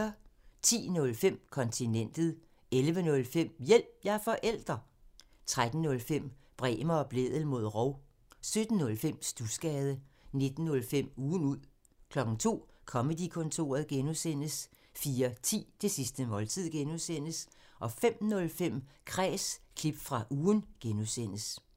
10:05: Kontinentet 11:05: Hjælp – jeg er forælder! 13:05: Bremer og Blædel mod rov 17:05: Studsgade 19:05: Ugen ud 02:00: Comedy-kontoret (G) 04:10: Det sidste måltid (G) 05:05: Kræs – klip fra ugen (G)